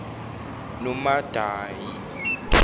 nomadayi